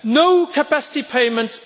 no capacity payments.